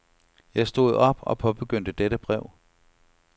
Jeg stod op og påbegyndte dette brev.